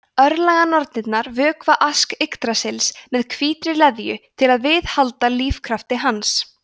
örlaganornirnar vökva ask yggdrasils með hvítri leðju til að viðhalda lífskrafti hans